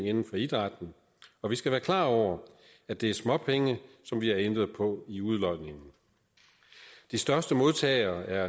inden for idrætten og vi skal være klar over at det er småpenge som vi har ændret på i udlodningen de største modtagere er